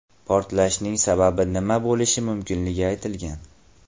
Portlashning sababi mina bo‘lishi mumkinligi aytilgan.